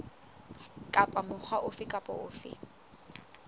kapa mokga ofe kapa ofe